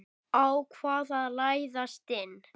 Ákvað að læðast inn.